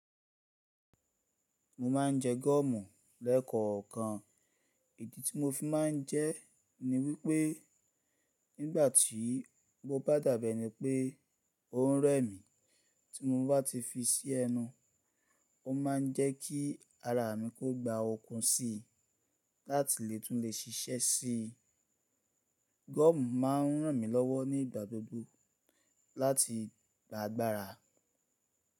Mo ma ń jẹ gọ́mù lekoo kan. Ìdí tí mo fi ma ń jẹ ni wípé nígbàtí bó bá dabe ni pé ó ń rẹ mí, tí mo bá ti fi sí ẹnu, o ma n jẹ́ kí ara mi kó gba okun sí láti lè tún lè ṣiṣẹ́ si. Gọ́mù ma ń ràn mí lọ́wọ́ nígbà gbogbo láti gba agbára.